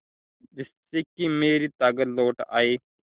जिससे कि मेरी ताकत लौट आये